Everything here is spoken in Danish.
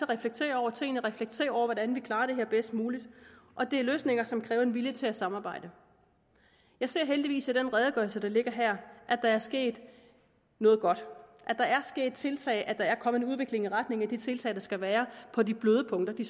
reflektere over tingene og reflektere over hvordan vi klarer det her bedst muligt og det er løsninger som kræver en vilje til at samarbejde jeg ser heldigvis i den redegørelse der ligger her at der er sket noget godt at tiltag og at der er kommet en udvikling i retning af de tiltag der skal være på de bløde punkter de